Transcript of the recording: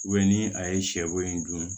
ni a ye sɛ bo in dun